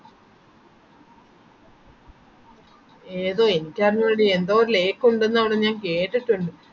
ഏതോ എനിക്കറിഞ്ഞൂടടി എന്തോ ഓരോ lake ഒണ്ടെന്നു പറഞ്ഞു ഞാൻ കേട്ടിട്ടുണ്ട്